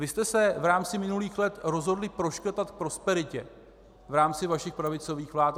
Vy jste se v rámci minulých let rozhodli proškrtat k prosperitě v rámci vašich pravicových vlád.